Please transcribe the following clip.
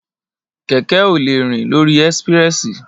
Kẹkẹ ò lẹ rín lòrí ẹsípìrẹsí